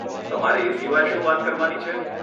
તમારે એ સિવાય શું વાત કરવાની છે?